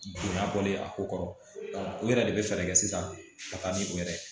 Bonya bɔlen a ko kɔrɔ o yɛrɛ de bɛ fɛɛrɛ kɛ sisan ka taa ni o yɛrɛ ye